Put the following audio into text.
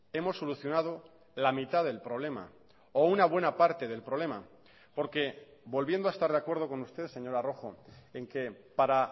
hemos solucionado la mitad del problema o una buena parte del problema porque volviendo a estar de acuerdo con usted señora rojo en que para